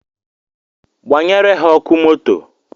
Gbanyere ha ọkụ moto